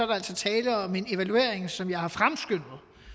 der altså tale om en evaluering som jeg har fremskyndet